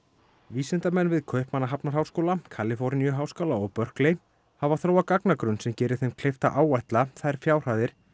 vísindamenn við Kaupmannahafnarháskóla Kaliforníuháskóla og hafa þróað gagnagrunn sem gerir þeim kleift að áætla þær fjárhæðir